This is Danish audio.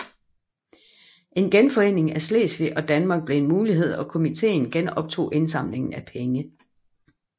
En genforening af Slesvig og Danmark blev en mulighed og komitéen genoptog indsamlingen af penge